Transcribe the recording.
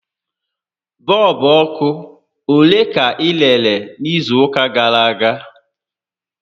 Bọọlbụ ọkụ ole ka ị rere n'izu ụka gàrà aga?